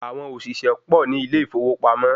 Àwọn òṣìṣẹ́ pọ̀ ní ilé ìfowópamọ́